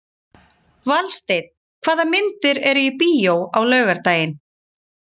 Valsteinn, hvaða myndir eru í bíó á laugardaginn?